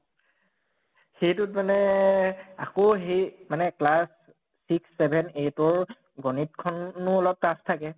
সেইটোত মানে আকৌ হেই মানে class six seven eight ৰ গণিত খনো অলপ tough থাকে